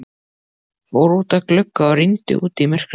Fór út að glugga og rýndi út í myrkrið.